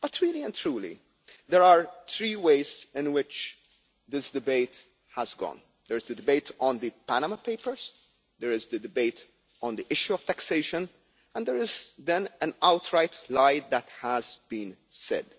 But, really and truly, there are three ways in which this debate has gone there is the debate on the Panama Papers, there is the debate on the issue of taxation, and there is then an outright lie that has been said.